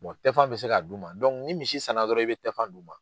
tɛfan bɛ se ka d'u ma ni misi sanna dɔrɔn i bɛ tɛfan d'u ma.